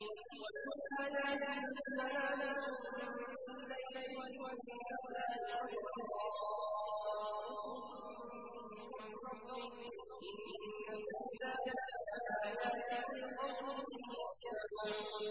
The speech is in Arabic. وَمِنْ آيَاتِهِ مَنَامُكُم بِاللَّيْلِ وَالنَّهَارِ وَابْتِغَاؤُكُم مِّن فَضْلِهِ ۚ إِنَّ فِي ذَٰلِكَ لَآيَاتٍ لِّقَوْمٍ يَسْمَعُونَ